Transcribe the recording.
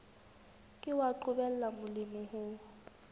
ke wa qobella molemi ho